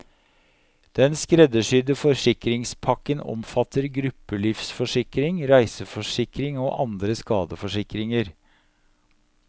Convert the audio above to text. Den skreddersydde forsikringspakken omfatter gruppelivsforsikring, reiseforsikring og andre skadeforsikringer.